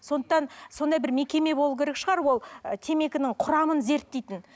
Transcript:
сондықтан сондай бір мекеме болу керек шығар ол темекінің құрамын зерттейтін